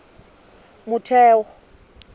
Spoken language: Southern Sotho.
motheo